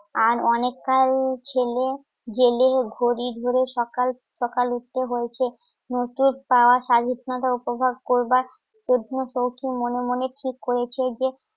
আর অনেক কার ছেলে গেলে ঘড়ি ধরে সকাল সকাল উঠে বলছে নতুন স্বাধীনতা উপভোগ করবার জন্য সউখি মনে মনে ঠিক করেছে